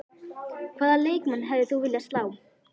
Hvaða leikmann hefðir þú viljað slá?